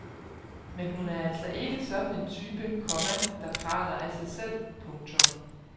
Men hun er altså ikke sådan en type, komma der praler af sig selv. punktum